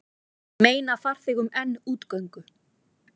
Meina farþegum enn útgöngu